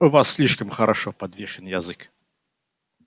у вас слишком хорошо подвешен язык